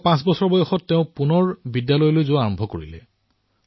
১০৫ বছৰ বয়সত তেওঁ পুনৰ বিদ্যালয়লৈ যোৱা আৰম্ভ কৰিলে